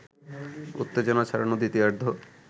উত্তেজনা ছড়ানো দ্বিতীয়ার্ধ